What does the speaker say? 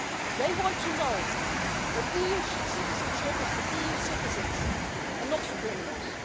They want to know that EU citizenship is for EU citizens and not for criminals.